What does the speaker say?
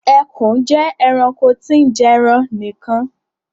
Ekùn je eranko tí n jeran nìkan